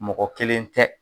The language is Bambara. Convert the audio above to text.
Mɔgɔ kelen tɛ